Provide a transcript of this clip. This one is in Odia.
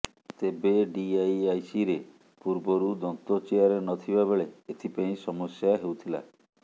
ତେବେ ଡିଇଆଇସିରେ ପୂର୍ବରୁ ଦନ୍ତ ଚେୟାର ନ ଥିବା ବେଳେ ଏଥିପାଇଁ ସମସ୍ୟା ହେଉଥିଲା